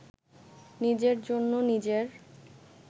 নিজের জন্য নিজের